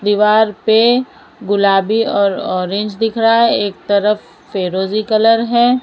दीवार पे गुलाबी और ऑरेंज दिख रहा है एक तरफ फेरोजी कलर है।